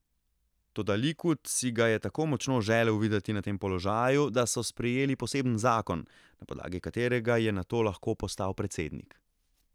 Toda Likud si ga je tako močno želel videti na tem položaju, da so sprejeli poseben zakon, na podlagi katerega je nato lahko postal predsednik.